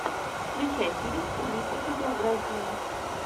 включай фильм в стилистике биографии